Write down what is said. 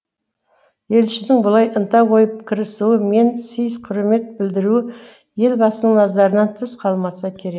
елшінің бұлай ынта қойып кірісуі мен сый құрмет білдіруі елбасының назарынан тыс қалмаса керек